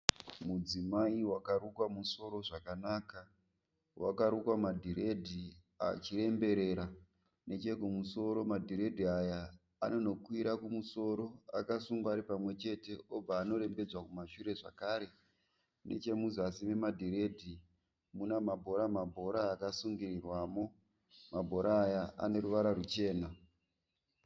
Mudzimai wakarukwa musoro zvakanaka. Wakarukwa madhirehdi achiremberera. Nechekumusoro madhiredhi aya anonokwira kumusoro akasungwa ari pamwe chete obva anorembedzwa kumashure zvakare. Nechemuzasi memadhiredhi mune mabhora akasungirirwamo. Mabhora aya ane ruvara ruchena.